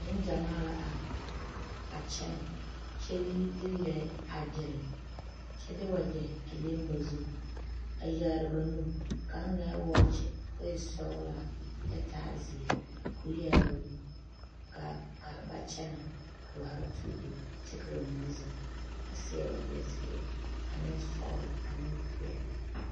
Neŋgyamaa la are a kyɛnɛ kyɛ de lɛɛ a gyire kyɛ de wagyɛ a leŋ ba zu ba zu a yaare ba nu a kaŋ eŋɛɛ wɔɔkyi ko e sɔglaa taa zeɛ ko yaaroo ka ba kyɛnɛ ka haa tuuro kyɛ ka ba mine zeŋ a seɛ wagyɛ zeɛ ane sɔglɔ ane peɛle.